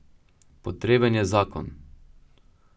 Potreben je Zakon.